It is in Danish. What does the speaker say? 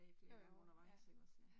Jo jo, ja